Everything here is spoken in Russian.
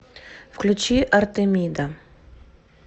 включи артемида